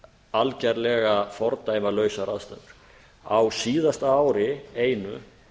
algerlega fordæmalausar aðstæður á síðasta ári einu